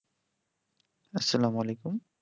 আসসালামু আলাইকুম